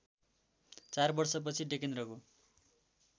चार वर्षपछि डेकेन्द्रको